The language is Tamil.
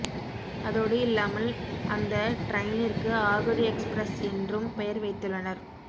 அதோடு இல்லாமல் அந்த டிரைனிற்கு ஆகடு எக்ஸ்பிரஸ் என்றும் பெயர் வைத்துள்ளனர்